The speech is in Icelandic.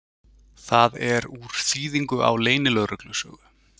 Það er úr þýðingu á leynilögreglusögu.